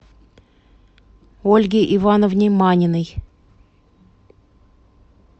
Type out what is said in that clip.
ольге ивановне маниной